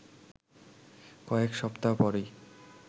কয়েক সপ্তাহ পরই